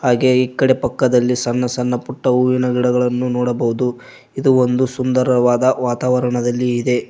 ಹಾಗೆ ಈ ಕಡೆ ಪಕ್ಕದಲ್ಲಿ ಸಣ್ಣ ಸಣ್ಣ ಪುಟ್ಟ ಹೂವಿನ ಗಿಡಗಳನ್ನು ನೋಡಬಹುದು ಇದು ಒಂದು ಸುಂದರವಾದ ವಾತಾವರಣದಲ್ಲಿ ಇದೆ.